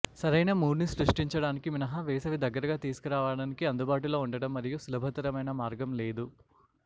సరైన మూడ్ని సృష్టించడానికి మినహా వేసవి దగ్గరగా తీసుకురావడానికి అందుబాటులో ఉండటం మరియు సులభతరమైన మార్గం లేదు